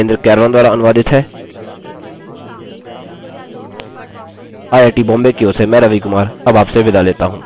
यह स्क्रिप्ट देवेन्द्र कैरवान द्वारा अनुवादित है आईआईटी मुम्बई की ओर से मैं रवि कुमार अब आपसे विदा लेता हूँ